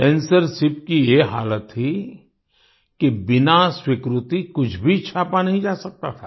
censorship की ये हालत थी कि बिना स्वीकृति कुछ भी छापा नहीं जा सकता था